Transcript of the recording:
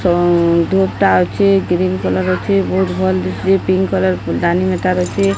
ସେ ଅନ୍ଧୁଟା ଅଛି ଗ୍ରୀନ କଲର ଅଛି। ବହୁତ ଭଲ୍ ଦିଶୁଚି ପିଙ୍କ କଲର ଦାନୀ ହେଠାରେ ଅଛି।